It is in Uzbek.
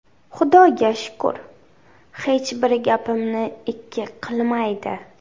Xudoga shukr, hech biri gapimni ikki qilmaydi.